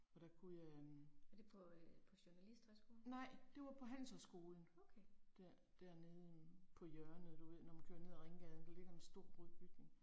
Og der kunne jeg øh. Nej, det var på handelshøjskolen. Der dernede øh på hjørnet du ved når man kører ned ad Ringgaden, der ligger en stor rund bygning